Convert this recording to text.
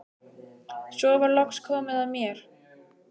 Svo var loks komið að mér.